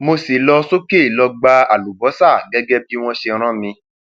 mo sì lọ sókè lọọ gba àlùbọsà gẹgẹ bí wọn ṣe rán mi